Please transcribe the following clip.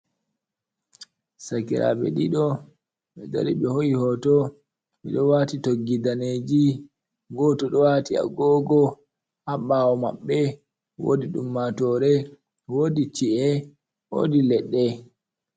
Sakiraaɓe ɗiɗo ɓe dari ɓe hoo’i hooto, ɓe ɗo waati toggi daneeji. Gooto ɗo waati agoogo ha ɓaawo maɓɓe woodi ɗummaatoore, woodi ci’ee, woodi leɗɗe.